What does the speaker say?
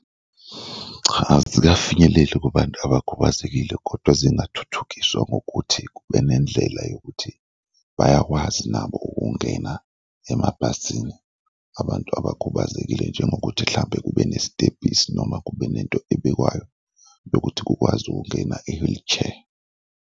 Cha, azikafinyeleli kubantu abakhubazekile kodwa zingathuthukiswa ngokuthi kube nendlela yokuthi bayakwazi nabo ukungena emabhasini abantu abakhubazekile njengokuthi mhlawumbe kube nesitebhisi noma kube nento ebekwayo yokuthi kukwazi ukungena i-wheelchair.